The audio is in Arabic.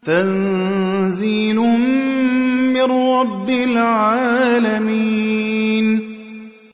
تَنزِيلٌ مِّن رَّبِّ الْعَالَمِينَ